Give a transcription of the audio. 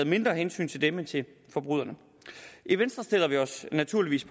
mindre hensyn til dem end til forbryderne i venstre stiller vi os naturligvis